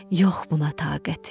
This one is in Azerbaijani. Yox buna taqətim.